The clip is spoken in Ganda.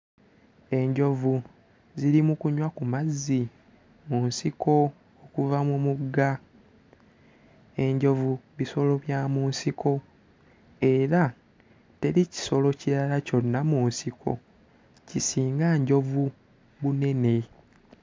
Enjovu ziri mu kunywa ku mazzi mu nsiko okuva mu mugga. Enjovu bisolo bya mu nsiko era teri kisolo kirala kyonna mu nsiko kisinga njovu bunene.